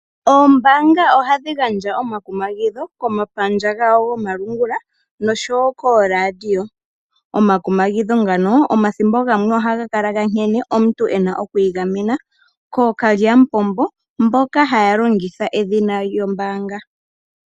Oombanga ohadhi gandja omakumagidho komapandja gawo gomalungula noshowo koRadio. Omakumagidho ngano omathimbo gamwe ohaga kala gankene omuntu ena okwi gamena okalyamupombo mboka taya longitha edhina lyombanga.